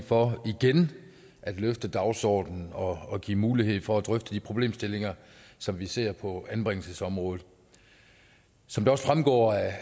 for igen at løfte dagsordenen og give mulighed for at drøfte de problemstillinger som vi ser på anbringelsesområdet som det også fremgår